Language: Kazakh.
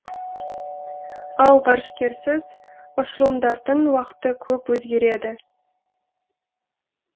ал ғарышкерсіз ұшырылымдардың уақыты көп өзгереді